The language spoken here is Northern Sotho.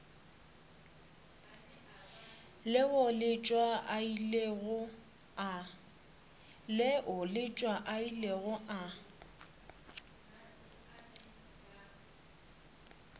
leo letšwa a ilego a